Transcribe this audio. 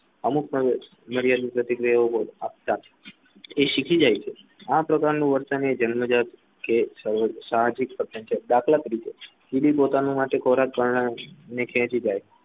અમુક મર્યાદિત પ્રતિક્રિયાઓ ની શીખી જાય છે આ પ્રકારનું વર્તન જન્મજાત સામાજિક દાખલા તરીકે કીડી પોતાનો ખોરાક ખેંચી જાય